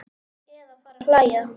Eða fara að hlæja.